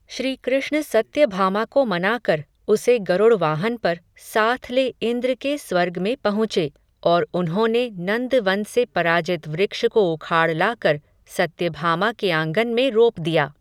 श्री कृष्ण सत्यभामा को मना कर, उसे गरुड़ वाहन पर, साथ ले इंद्र के स्वर्ग में पहुँचे, और उन्होंने नंदवन से पराजित वृक्ष को उखाड़ लाकर, सत्यभामा के आंगन में रोप दिया